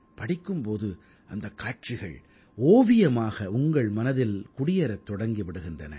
படிக்கும் போது அந்தக் காட்சிகள் ஓவியமாக உங்கள் மனதில் குடியேறத் தொடங்கி விடுகின்றன